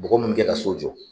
Bɔgɔ munnu bi kɛ ka so mu